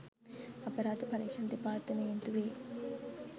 අපරාධ පරීක්ෂණ දෙපාර්තමේන්තුවේ